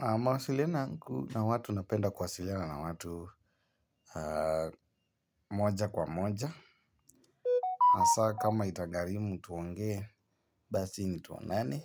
Mawasilianoyangu na watu napenda kuwasiliana na watu moja kwa moja. Hasaa kama itagharimu tuonge, basi ni tuonane